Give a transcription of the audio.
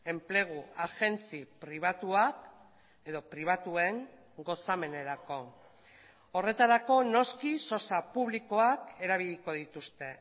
enplegu agentzi pribatuak edo pribatuen gozamenerako horretarako noski sosa publikoak erabiliko dituzte